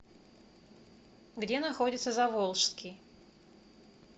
где находится заволжский